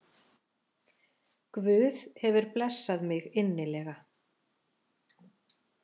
Guð hefur blessað mig innilega